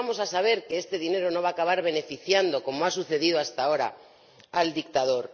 ¿Cómo vamos a saber que este dinero no va acabar beneficiando, como ha sucedido hasta ahora, al dictador?